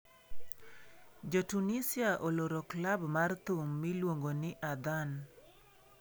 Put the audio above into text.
Jo Tunisia oloro klab mar thum miluongo ni 'Adhan'